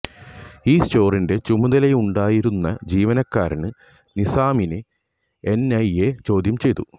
ഈ സ്റ്റോറിന്റെ ചുമതലയുണ്ടായിരുന്ന ജീവനക്കാരന് നിസാമിനെ എന്ഐഎ ചോദ്യം ചെയ്തു